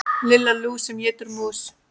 Lilla lús sem étur mús.